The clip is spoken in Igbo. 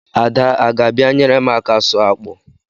Ada a ga-abịa nyere m aka sụọ akpụ?